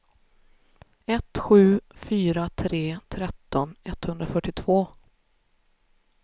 ett sju fyra tre tretton etthundrafyrtiotvå